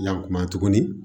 Yan kuma tuguni